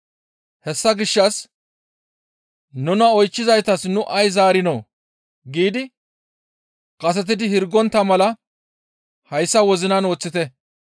Hessa gishshas nuna oychchizaytas nu ay zaarinoo? giidi kasetidi hirgontta mala hayssa wozinan woththite.